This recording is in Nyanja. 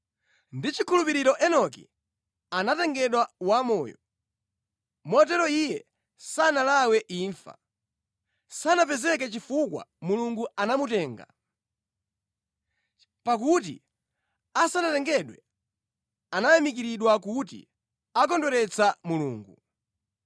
Ndi chikhulupiriro Enoki anatengedwa wamoyo, motero iye sanalawe imfa; sanapezeke chifukwa Mulungu anamutenga. Pakuti asanatengedwe anayamikiridwa kuti ankakondweretsa Mulungu.